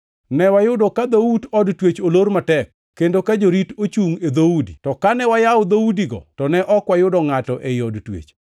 “Ne wayudo ka dhout od twech olor matek, kendo ka jorito ochungʼ e dhoudi; to kane wayawo dhoudigo, to ne ok wayudo ngʼato ei od twech.”